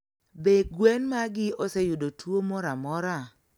Be gwen magi oseyudo tuo moramora?